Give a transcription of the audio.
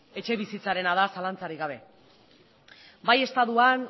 etxebizitzarena da zalantzarik gabe bai estatuan